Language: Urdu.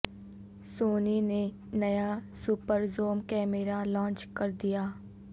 سونی نے نیا سپر زوم کیمرہ لانچ کر دیا